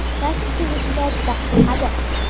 Rasm chizishga juda qiziqadi.